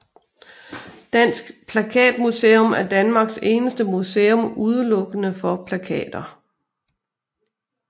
Dansk Plakatmuseum er Danmarks eneste museum udelukkende for plakater